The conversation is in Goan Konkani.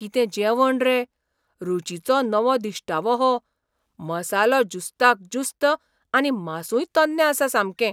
कितें जेवण रे! रूचीचो नवो दिश्टावो हो. मसालो ज्युस्ताक ज्युस्त आनी मांसूय तन्नें आसा सामकें.